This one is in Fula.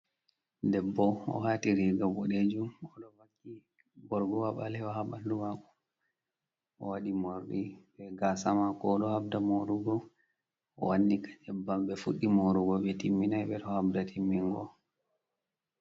Debbo o wati riga boɗejum borgowa ɓalewo haa bandu mako, o waɗi morɗi be gaasa mako ɗohabda morugo, o wannika nyebba ɓe fuɗɗi morugo ɓe timminai ɓeɗo habda timmungo.